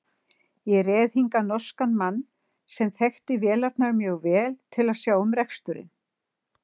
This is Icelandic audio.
Ég réð hingað norskan mann, sem þekkti vélarnar mjög vel, til að sjá um reksturinn.